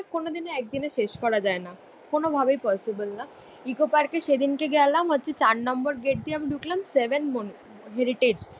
কোনোদিনও একদিনে শেষ করা যায়না কোনো ভাবেই পসিবল না। ইকো পার্কে সেদিনকে গেলাম হচ্ছে চার নম্বর গেট আমি ঢুকলাম, সেভেন মন হেরিটেজ